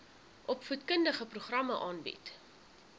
opvoedkundige programme aanbied